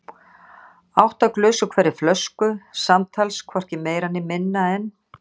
Átta glös úr hverri flösku, samtals hvorki meira né minna en